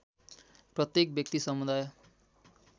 प्रत्येक व्यक्ति समुदाय